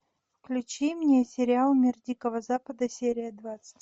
включи мне сериал мир дикого запада серия двадцать